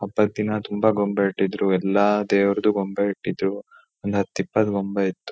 ಹಬ್ಬದ್ದಿನ ತುಂಬಾ ಗೊಂಬೆ ಇಟ್ಟಿದ್ರು ಎಲ್ಲಾ ದೇವರದು ಗೊಂಬೆ ಇಟ್ಟಿದ್ರು ಒಂದ್ ಹತ್ತ್ ಎಪ್ಪತ್ತ್ ಗೊಂಬೆ ಇತ್ತು